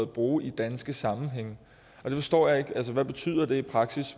bruge i danske sammenhænge det forstår jeg ikke hvad betyder det i praksis